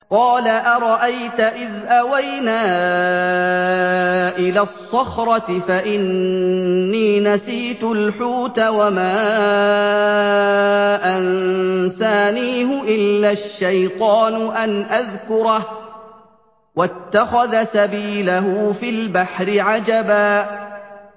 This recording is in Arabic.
قَالَ أَرَأَيْتَ إِذْ أَوَيْنَا إِلَى الصَّخْرَةِ فَإِنِّي نَسِيتُ الْحُوتَ وَمَا أَنسَانِيهُ إِلَّا الشَّيْطَانُ أَنْ أَذْكُرَهُ ۚ وَاتَّخَذَ سَبِيلَهُ فِي الْبَحْرِ عَجَبًا